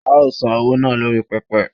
a o san owo naa lori pepe